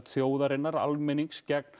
þjóðarinnar almennings gegn